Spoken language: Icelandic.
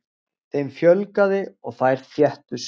Þeim fjölgaði og þær þéttust.